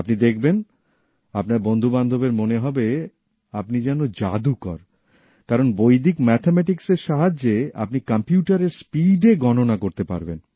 আপনি দেখবেন আপনার বন্ধুবান্ধবের মনে হবে আপনি যেন জাদুকর কারণ বৈদিক ম্যাথামেটিক্সের সাহায্যে আপনি কম্পিউটারের স্পিডে গণনা করতে পারবেন